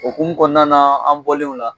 Okumu kɔnɔna la an bɔlen o la